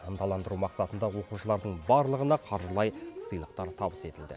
ынталандыру мақсатында оқушылардың барлығына қаржылай сыйлықтар табыс етілді